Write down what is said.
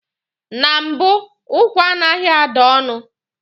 Na mbụ, ụkwa anaghị ada ọnụ.